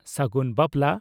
ᱥᱟᱹᱜᱩᱱ ᱵᱟᱯᱞᱟ